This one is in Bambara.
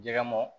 Jɛgɛ mɔ